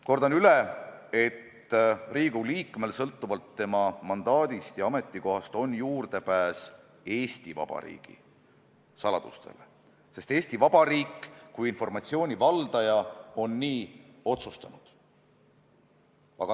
Kordan üle, et Riigikogu liikmel sõltuvalt tema mandaadist ja ametikohast on juurdepääs Eesti Vabariigi saladustele, sest Eesti Vabariik kui informatsiooni valdaja on nii otsustanud.